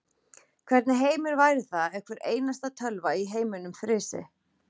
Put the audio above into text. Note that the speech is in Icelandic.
Hvernig heimur væri það ef hvar einasta tölva í heiminum frysi.